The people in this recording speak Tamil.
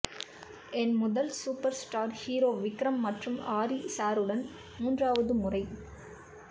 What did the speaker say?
என் முதல் சூப்பர் ஸ்டார் ஹீரோ விக்ரம் மற்றும் ஹரி சாருடன் மூன்றாவது முறை